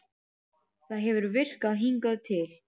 Það hefur virkað hingað til.